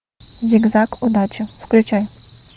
зигзаг удачи включай